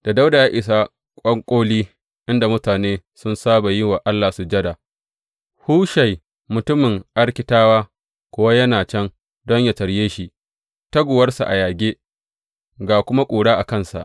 Da Dawuda ya isa ƙwanƙoli, inda mutane sun saba yi wa Allah sujada, Hushai, mutumin Arkitawa kuwa yana can don yă tarye shi, taguwarsa a yage, ga kuma ƙura a kansa.